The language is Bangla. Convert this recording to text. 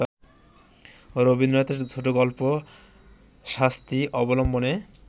রবীন্দ্রনাথের ছোটগল্প ‘শাস্তি’ অবলম্বনে